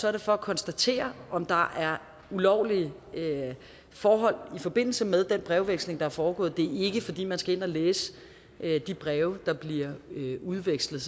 er det for at konstatere om der er ulovlige forhold i forbindelse med den brevveksling der er foregået det er ikke fordi man skal ind at læse de breve der bliver udvekslet